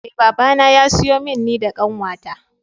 Eh babana ya siyo min ni da kanwata.